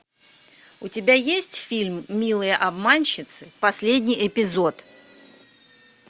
у тебя есть фильм милые обманщицы последний эпизод